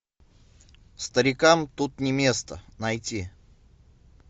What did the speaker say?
старикам тут не место найти